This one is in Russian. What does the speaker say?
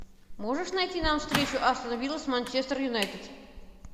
можешь найти нам встречу астон вилла с манчестер юнайтед